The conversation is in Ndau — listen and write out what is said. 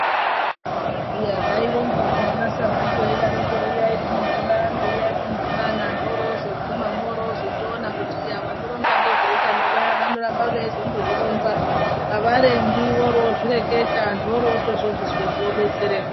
Iya zvaironzwa piya ana sabhuku vaidaroko "Uyai kumudhibano, uyai kumudhibano" antu orozoguma mworozotoona kuti vanoronza ngezveutano vaya vanoramba vaindozozvironza ,avarembi vorozvireketa ,antu orotozvizwepo obetsereka